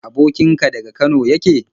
Abokin ka daga Kano yake?